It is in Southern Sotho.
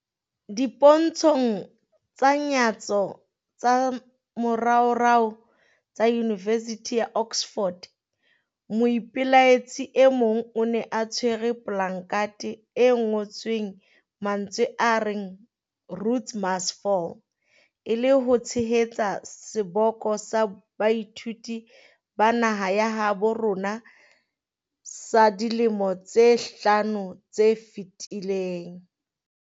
Dipontshong tsa nyatso tsa moraorao tsa Yunivesithi ya Oxford, moipelaetsi e mong o ne a tshwere polakathe e ngo-tsweng mantswe a reng 'Rhodes must Fall', e le ho tshehetsa seboko sa baithuti ba naheng ya habo rona sa dilemong tse hlano tse fetileng.